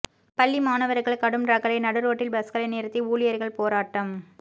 பள்ளி மாணவர்கள் கடும் ரகளை நடுரோட்டில் பஸ்களை நிறுத்தி ஊழியர்கள் போராட்டம்